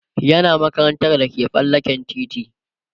yana makarantar da ke tsallaken titi